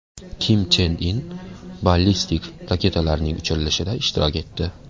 Kim Chen In ballistik raketalarning uchirilishida ishtirok etdi .